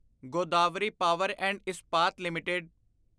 Godavari power and Ispat LTD